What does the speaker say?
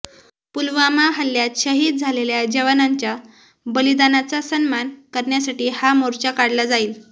पुलवामा हल्ल्यात शहीद झालेल्या जवानांच्या बलिदानाचा सन्मान करण्यासाठी हा मोर्चा काढला जाईल